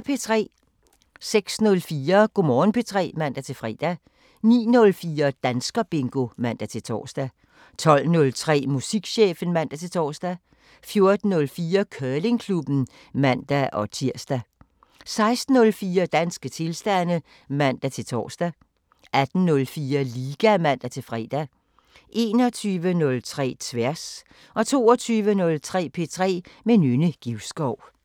06:04: Go' Morgen P3 (man-fre) 09:04: Danskerbingo (man-tor) 12:03: Musikchefen (man-tor) 14:04: Curlingklubben (man-tir) 16:04: Danske tilstande (man-tor) 18:04: Liga (man-fre) 21:03: Tværs 22:03: P3 med Nynne Givskov